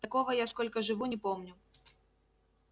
такого я сколько живу не помню